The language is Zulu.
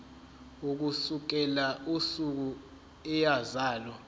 ukusukela usuku eyazalwa